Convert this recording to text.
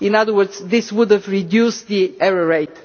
In other words, this would have reduced the error rate.